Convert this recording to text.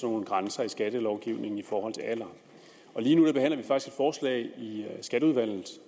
nogle grænser i skattelovgivningen i forhold til alder og lige nu behandler vi faktisk et forslag i skatteudvalget